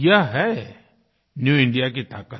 यह हैन्यू इंडिया की ताक़त